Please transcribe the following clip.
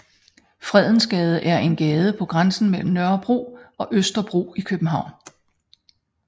Fredensgade er en gade på grænsen mellem Nørrebro og Østerbro i København